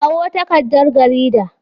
Kawo takardar garida.